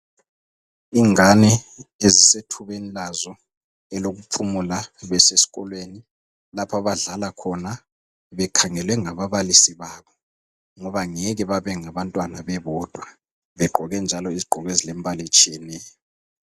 Ingane ezisethubeni lazo elokuphumula besikolweni lapha abadlala khona bekhangelwe ngababalisi babo ngoba ngeke bebengabantwana bebodwa begqoke njalo izigqoko ezilombala etshiyeneyo.